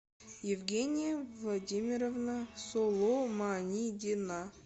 евгения владимировна соломанидина